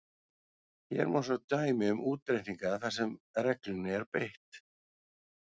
Hér má svo sjá dæmi um útreikninga þar sem reglunni er beitt: